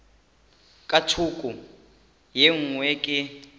ka thoko ye nngwe ke